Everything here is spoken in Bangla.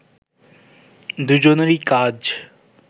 দুজনেরই কাজ